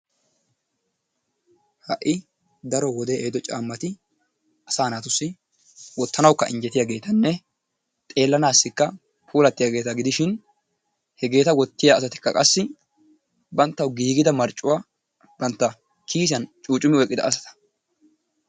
ha'i daro wodee ehiido caamatti asaa naatussi wotanawukka injjetiyaageetanne xeelanaassikka puullattiyaageeta gidishin hegeeta wottiya asatikka qassi banttawu giigida marccuwa bantta kiisiyan cuucumi oykkida asa